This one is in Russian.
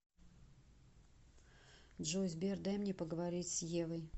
джой сбер дай мне поговорить с евой